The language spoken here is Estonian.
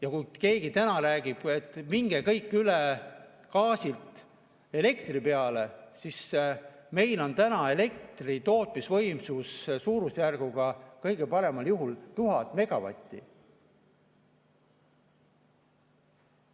Ja kui keegi räägib, et minge kõik üle gaasilt elektri peale, siis meil on täna elektritootmisvõimsus suurusjärgus kõige paremal juhul 1000 megavatti.